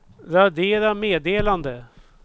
radera meddelande